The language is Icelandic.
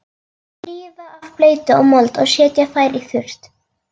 Þrífa af bleytu og mold og setja þær í þurrt.